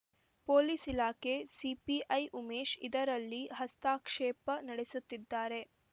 police ಇಲಾಖೆ CPI Umesh ಇದರಲ್ಲಿ ಹಸ್ತಕ್ಷೇಪ ನಡೆಸುತ್ತಿದ್ದಾರೆ